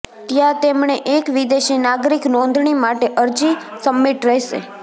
ત્યાં તેમણે એક વિદેશી નાગરિક નોંધણી માટે અરજી સબમિટ રહેશે